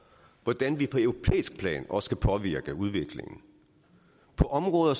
hvordan vi på europæisk plan også kan påvirke udviklingen på områder